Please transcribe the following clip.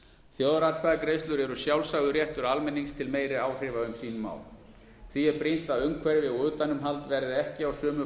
þjóðaratkvæðagreiðslur eru sjálfsagður réttur almennings til meiri áhrifa um sín mál því er brýnt að umhverfi og utanumhald verði ekki á sömu